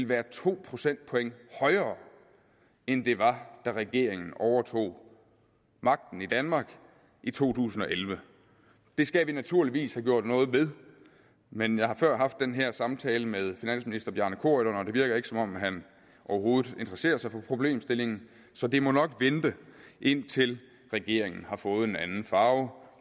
være to procentpoint højere end det var da regeringen overtog magten i danmark i to tusind og elleve det skal vi naturligvis have gjort noget ved men jeg har før haft den her samtale med finansministeren og det virker ikke som om han overhovedet interesserer sig for problemstillingen så det må nok vente indtil regeringen har fået en anden farve